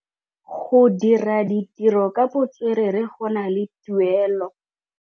Go dira ditirô ka botswerere go na le tuelô.